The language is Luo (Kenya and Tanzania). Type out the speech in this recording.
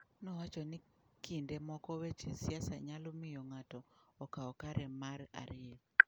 Nowacho ni kinde moko weche siasa nyalo miyo ng'ato okaw kare mar ariyo.